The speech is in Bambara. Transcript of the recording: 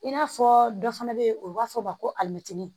I n'a fɔ dɔ fana bɛ yen o b'a fɔ ma ko alimɛti